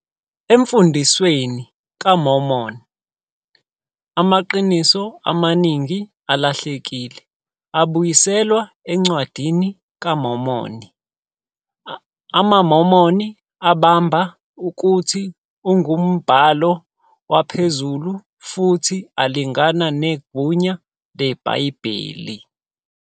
Emfundisweni kaMormon, amaqiniso amaningi alahlekile abuyiselwa eNcwadini kaMormoni, amaMormon abamba ukuthi angumbhalo waphezulu futhi alingana negunya leBhayibheli.